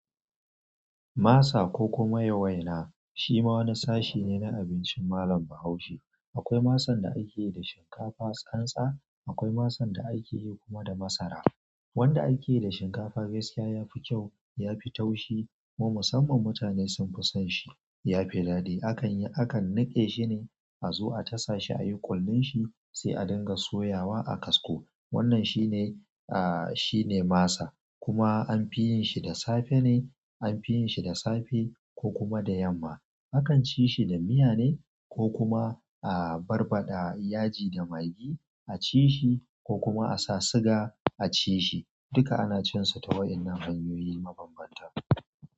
Masa ko kuma ya waina shi ma wani sashi ne na abincin malam Bahaushe. Akwai masan da ake yi da shinkafa tsantsa, akwai masan da ake yi kuma da masara. Wanda ake yi da shinkafa gaskiya ya fi kyau, ya fi taushi kuma musamman mutane sun fi son shi. Ya fi daɗi. Akan yi, akan niƙe shi ne a zu a tasa shi a yi ƙullun shi sai a dinga soyawa a kasko. Wannan shi ne, ah, shi ne masa. Kuma an fi yin shi da safe ne an fi yin shi da safe ko kuma da yamma akan ci shi da miya ne ko kuma, ah, barbaɗa yaji da magi a ci shi ko kuma a sa suga a ci shi. Duka ana cin sa ta wayanan hanyoyi mabambanta.